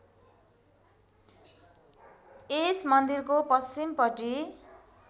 यस मन्दिरको पश्चिमपट्टि